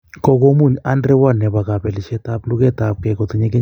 Kogomuny Andre Ward nepo kopelisiet ap lugetapke kotinye kenyishek 33.